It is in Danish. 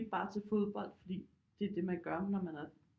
Bare til fodbold fordi det er det man gør når man er